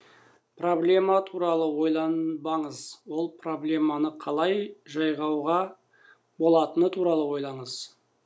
проблема туралы ойланбаңыз ол проблеманы қалай жайғауға болатыны туралы ойланыңыз